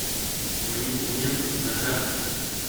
мои документы на карте